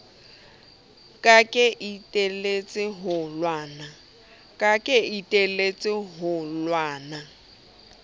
ka ke iteletse ho lwana